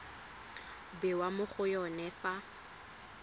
bewa mo go yone fa